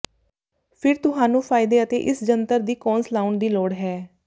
ਫਿਰ ਤੁਹਾਨੂੰ ਫ਼ਾਇਦੇ ਅਤੇ ਇਸ ਜੰਤਰ ਦੀ ਕੌਨਸ ਲਾਉਣ ਦੀ ਲੋੜ ਹੈ